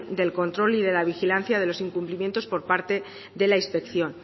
del control y la vigilancia de los incumplimientos por parte de la inspección